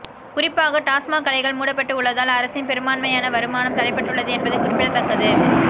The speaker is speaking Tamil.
குறிப்பாக டாஸ்மாக் கடைகள் மூடப்பட்டு உள்ளதால் அரசின் பெரும்பான்மையான வருமானம் தடைபட்டுள்ளது என்பது குறிப்பிடத்தக்கது